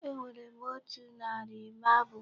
Enwere m otu narị marble.